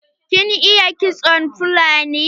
Kin iya kiston fulani?